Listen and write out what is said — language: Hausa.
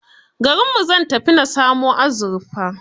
Garinmu zan tafi na samo azurfa.